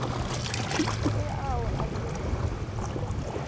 le ao a tšerwego ke